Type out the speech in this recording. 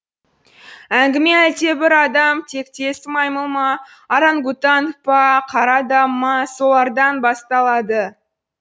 әңгіме әлдебір адам тектес маймыл ма орангутанг па қар адамы ма солардан басталады